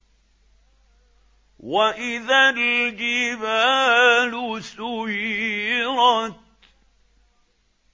وَإِذَا الْجِبَالُ سُيِّرَتْ